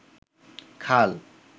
খাল